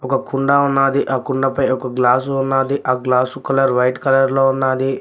ఒక కుండా ఉన్నాది ఆ కుండపై ఒక గ్లాసు ఉన్నది ఆ గ్లాసు కలర్ వైట్ కలర్ లో ఉన్నాది.